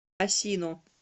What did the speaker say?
асино